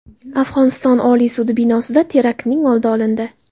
Afg‘oniston Oliy sudi binosida teraktning oldi olindi.